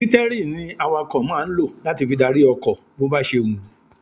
Sítẹ́rìnì ni àwàkọ̀ máa ń lọ láti fi dárí ọkọ̀ bó ba ṣe wù-ú.